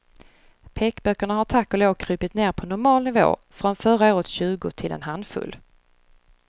Pekböckerna har tack och lov krupit ned på normal nivå, från förra årets tjugo till en handfull.